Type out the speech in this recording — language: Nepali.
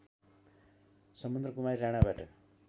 समुद्रकुमारी राणाबाट